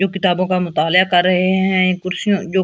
जो किताबों का मुताल्या कर रहे है। ये कुर्सियां जो--